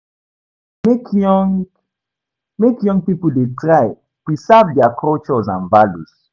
Make young Make young pipo try de preserve their cultures and values